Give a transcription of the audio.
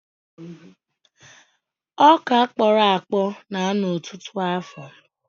Ọkà kpọrọ akpọ na-anọ ọtụtụ afọ.